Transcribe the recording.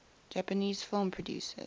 japanese film producers